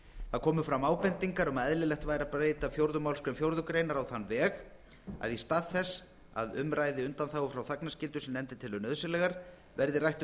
að eðlilegt væri að breyta fjórðu málsgrein fjórðu grein á þann veg að að í stað þess að um ræði undanþágur frá þagnarskyldu sem nefndin telur nauðsynlegar verði rætt um